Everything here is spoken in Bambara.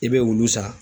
I bɛ olu san